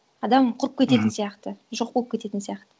адам құрып кететін сияқты жоқ болып кететін сияқты